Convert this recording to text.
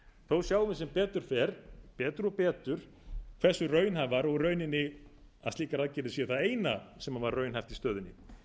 þó sjáum við sem betur fer betur og betur hversu raunhæfar og rauninni að slíkar aðgerðir séu það eina sem var raunhæft í stöðunni